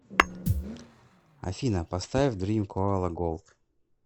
афина поставь дрим коала голд